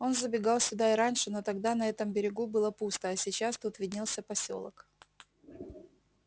он забегал сюда и раньше но тогда на этом берегу было пусто а сейчас тут виднелся посёлок